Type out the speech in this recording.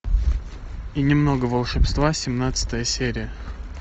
и немного волшебства семнадцатая серия